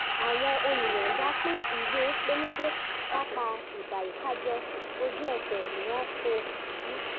àwọn olùyọ̀ọ̀da pín ìwé pélébé kápá ìbàyíkájẹ́ ojú ẹsẹ̀ ni wọ́n kó jù